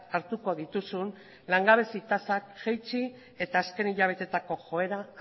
hartuko dituzun langabezi tasak jaitsi eta azken hilabetetako joera